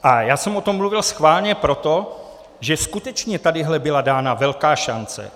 A já jsem o tom mluvil schválně proto, že skutečně tady byla dána velká šance.